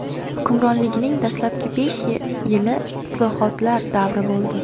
Hukmronligining dastlabki besh yili islohotlar davri bo‘ldi.